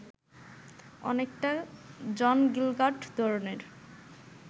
অনেকটা John Gielgud ধরনের